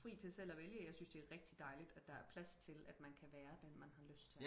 fri til selv at vælge jeg synes det er rigtig dejligt at der er plads til at man kan være den man har lyst til